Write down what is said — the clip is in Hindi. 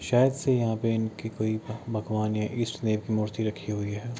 शायद से यहाँ पे इनकी कोई भगवान या इष्ट देव की मूर्ति रखी हुई है।